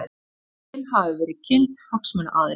Drögin hafa verið kynnt hagsmunaaðilum